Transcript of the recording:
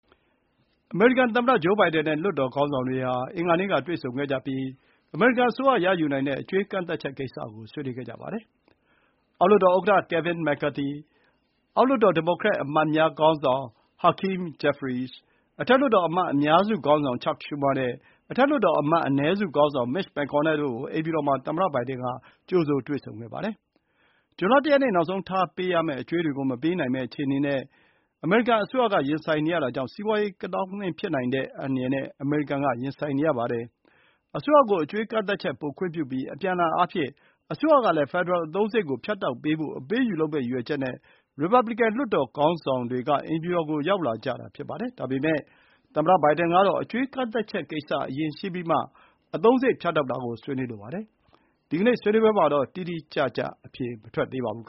အမေရိကန်သမ္မတဘိုင်ဒန်နဲ့ လွှတ်တော်ခေါင်းဆောင်တွေဟာ အင်္ဂါနေ့ကတွေ့ဆုံကြပြီး အမေရိကန်အစိုးရယူနိုင်တဲ့အကြွေး ကန့်သတ်ချက်ကိစ္စကို ဆွေးနွေးခဲ့ကြပါတယ်။ အောက်လွှတ်တော်ဥက္ကဋ္ဌ Kevin McCarthy၊ အောက်လွှတ်တော် ဒီမိုကရက်အမတ်များ ခေါင်းဆောင် Hakeem Jeffries၊ အထက်လွှတ်တော် အမတ်အများစုခေါင်းဆောင် Chuck Schumer နဲ့ အထက်လွှတ်တော် အမတ်အနည်းစုခေါင်းဆောင် Mitch McConnell တို့ကို အိမ်ဖြူတော်မှာ သမ္မတဘိုင်ဒန်က ကြိုဆိုခဲ့ပါတယ်။ ဇွန်လ ၁ ရက်နေ့ နောက်ဆုံးထား ပေးရမယ့်အကြွေးတွေကို မပေးနိုင်မယ့်အခြေအနေ နဲ့ အစိုးရကရင်ဆိုင်နေရတာကြောင့် စီးပွါးရေး ကသောင်းကနင်းဖြစ်ကောင်းဖြစ်နိုင်တဲ့ အန္တရာယ်နဲ့ အမေရိကန်က ရင်ဆိုင်နေရပါတယ်။ အစိုးရကို အကြွေးကန့်သတ်ချက် ပိုခွင့်ပြုပြီး အပြန်အလှန်အားဖြင့် အစိုးရကလည်း ဖက်ဒရယ်အသုံးစရိတ်ကို ဖြတ်တောက်ပေးဖို့ အပေးအယူလုပ်မယ့်ရည်ရွယ်ချက်နဲ့ ရီပါဘလီကန် လွှတ်တော်ခေါင်းဆောင်တွေက အိမ်ဖြူတော်ကို ရောက်လာကြတာ ဖြစ်ပါတယ်။ ဒါပေမဲ့ သမ္မတဘိုင်ဒန်ကတော့ အကြွေးကန့်သတ်ချက်ကိစ္စ အရင်ရှင်းပြီးမှ အသုံးစရိတ် ဖြတ်တောက်တာကို ဆွေးနွေးလိုပါတယ်။ ဒီနေ့ဆွေးနွေးပွဲမှာတော့ တိတိကျကျ အဖြေမထွက်သေးပါဘူး